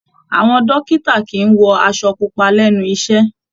Àwọn dókítà kìí wọ aṣọ pupa lẹ́nu iṣẹ́.